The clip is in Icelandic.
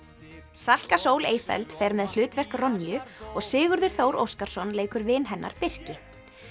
Salka Sól fer með hlutverk og Sigurður Þór Óskarsson leikur vin hennar Birki